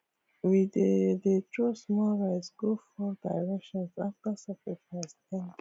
we dey dey throw small rice go four directions after sacrifice end